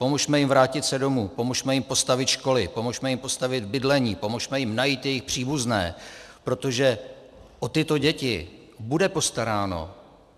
Pomozme jim vrátit se domů, pomozme jim postavit školy, pomozme jim postavit bydlení, pomozme jim najít jejich příbuzné, protože o tyto děti bude postaráno.